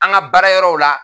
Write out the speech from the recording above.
An ka baarayɔrɔw la